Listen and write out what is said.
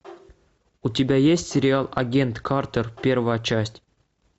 у тебя есть сериал агент картер первая часть